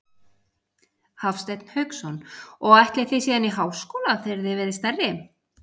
Hafsteinn Hauksson: Og ætlið þið síðan í háskóla þegar þið verðið stærri?